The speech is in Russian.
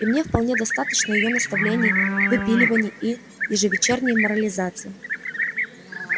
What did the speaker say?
и мне вполне достаточно её наставлений выпиливаний и ежевечерней морализации